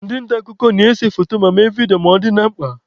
Ndị nta akụkọ na-ese foto ma mee vidio ma ọ dị na mkpa.